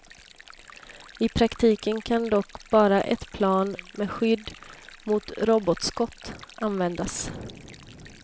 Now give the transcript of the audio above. I praktiken kan dock bara ett plan, med skydd mot robotskott, användas.